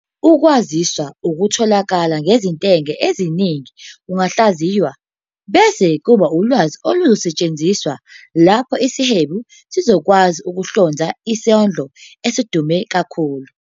Ukwaziswa okutholakala ngezintengo eziningi kungahlaziywa, bese kuba ulwazi oluzosetshenziswa lapho isihwebi sizokwazi ukuhlonza isidlo esidume kakhulu.